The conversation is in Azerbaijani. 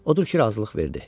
Odur ki razılıq verdi.